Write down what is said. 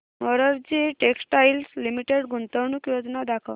Morarji textiles limited गुंतवणूक योजना दाखव